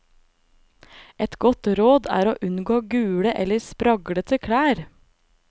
Et godt råd er å unngå gule eller spraglete klær.